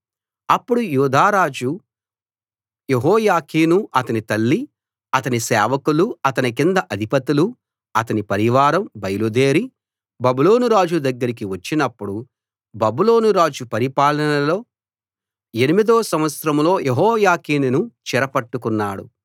అప్పుడు యూదారాజు యెహోయాకీను అతని తల్లి అతని సేవకులు అతని కింద అధిపతులూ అతని పరివారం బయలుదేరి బబులోనురాజు దగ్గరికి వచ్చినప్పుడు బబులోను రాజు పరిపాలనలో ఎనిమిదో సంవత్సరంలో యెహోయాకీనును చెరపట్టుకున్నాడు